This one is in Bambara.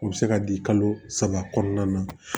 U bɛ se ka di kalo saba kɔnɔna na